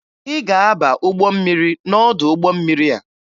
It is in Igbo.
Ị ga-aba ụgbọ mmiri n'ọdụ ụgbọ mmiri a!